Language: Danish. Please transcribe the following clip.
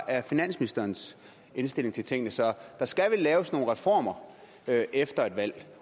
er finansministerens indstilling til tingene så der skal vel laves nogle reformer efter et valg